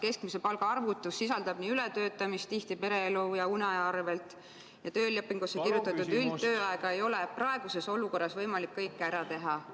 Keskmise palga arvutus sisaldab aga ületöötamist, tihti pereelu ja uneaja arvel – töölepingusse kirjutatud üldtööajaga ei ole praeguses olukorras võimalik kõike ära teha.